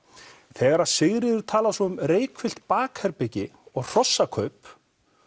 þegar Sigríður talar svo um reykfyllt bakherbergi og hrossakaup